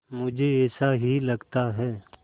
मुझे ऐसा ही लगता है